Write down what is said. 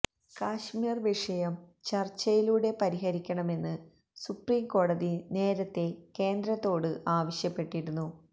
കാശ്മീര് വിഷയം ചര്ച്ചയിലൂടെ പരിഹരിക്കണമെന്ന് സുപ്രീം കോടതി നേരത്തെ കേന്ദ്രത്തോട് ആവശ്യപ്പെട്ടിരുന്നു